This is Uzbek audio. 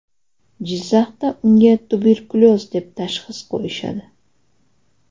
Jizzaxda unga tuberkulyoz deb tashxis qo‘yishadi.